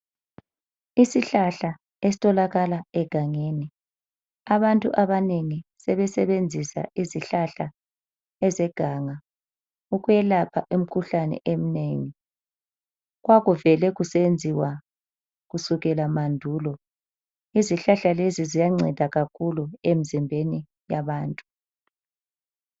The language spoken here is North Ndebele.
Isihlahla esitholakala egangeni. Abantu abanengi sebesebenzisa izihlahla ezeganga ukwelapha imikhuhlane eminengi. Kwakuvele kusetshenziwa kusukela mandulo. Izihlahla lezi ziyanceda kakhulu emizimbeni yabantu.